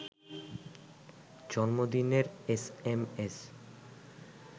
জন্মদিনের S M S